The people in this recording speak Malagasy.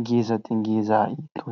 ngeza2 dia ngeza itony.